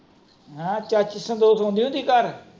ਚਾਚੀ ਸੰਤੋਸ਼ ਆਉਂਦੀ ਹੁੰਦੀ ਘਰ।